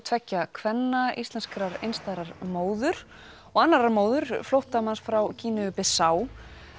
tveggja kvenna íslenskrar einstæðrar móður og annarrar móður frá Gíneu Bissá